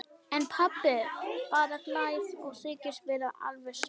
En pabbi bara hlær og þykist vera alveg sama.